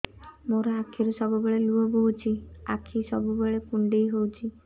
ମୋର ଆଖିରୁ ସବୁବେଳେ ଲୁହ ବୋହୁଛି ଆଖି ସବୁବେଳେ କୁଣ୍ଡେଇ ହଉଚି